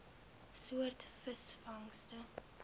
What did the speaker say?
soort visvangste